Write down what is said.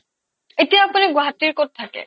এতিয়া আপুনি গুৱাহাটীৰ ক'ত থাকে ?